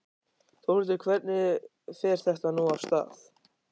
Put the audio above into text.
Þórhildur, hvernig fer þetta nú af stað?